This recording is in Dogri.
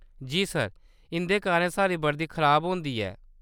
जी सर, इं'दे कारण साढ़ी वर्दी खराब होंदी ऐ।